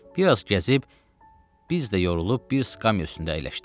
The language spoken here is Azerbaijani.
Bir az gəzib, biz də yorulub bir skamya üstündə əyləşdik.